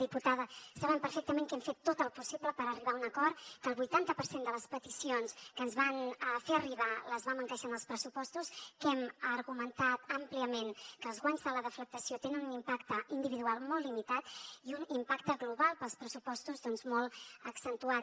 diputada saben perfectament que hem fet tot el possible per arribar a un acord que el vuitanta per cent de les peticions que ens van fer arribar les vam encaixar en els pressupostos que hem argumentat àmpliament que els guanys de la deflactació tenen un impacte individual molt limitat i un impacte global per als pressupostos doncs molt accentuat